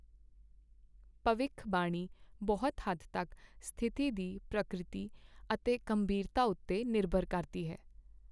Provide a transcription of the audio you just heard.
ਭਵਿੱਖਬਾਣੀ ਬਹੁਤ ਹੱਦ ਤੱਕ ਸਥਿਤੀ ਦੀ ਪ੍ਰਾਕਰਿਤੀ ਅਤੇ ਗੰਭੀਰਤਾ ਉੱਤੇ ਨਿਰਭਰ ਕਰਦੀ ਹੈ।